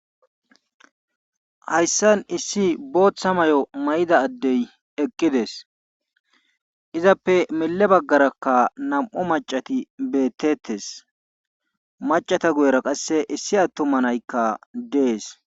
Hayssan issi booththa mayo mayida adde eqqidees izappe mile bagarakka nam'u macati betees macata guyera qasse isi atuma nay dees.